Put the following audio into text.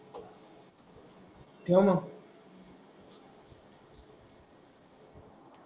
ठेव मग.